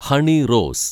Honey Rose